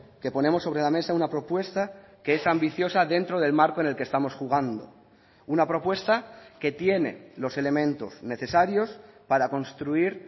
que ponemos sobre la mesa una propuesta que es ambiciosa dentro del marco en el que estamos jugando una propuesta que tiene los elementos necesarios para construir